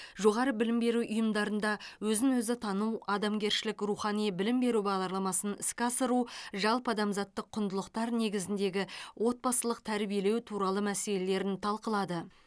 жоғары білім беру ұйымдарында өзін өзі тану адамгершілік рухани білім беру бағдарламасын іске асыру жалпыадамзаттық құндылықтар негізіндегі отбасылық тәрбиелеу туралы мәселелерін талқылады